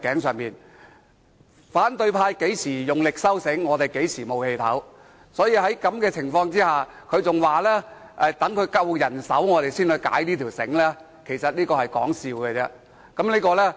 只要反對派用力收緊繩子，我們便無法呼吸，所以他們說要待有足夠人手時才把繩子鬆開，我認為只是說笑而已。